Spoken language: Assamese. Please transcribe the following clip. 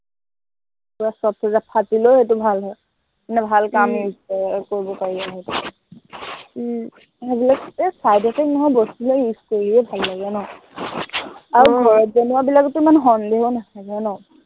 তোৰ ফাট ফাটিলেও এইটো ভাল হয়। মানে ভাল কাম use কৰে আৰু, কৰিব পাৰি আৰু সেইটো তেনেকে সেইবিলাক এৰ side effect নোহোৱা বস্তুবিলাক use কৰিয়েই ভাল লাগে ন, আৰু ঘৰত বনোৱাবিলাকটো ইমান সন্দেহো নাথাকে ন